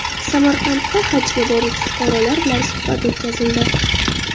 Samarqandda hajga boruvchi fuqarolar bilan suhbat o‘tkazildi.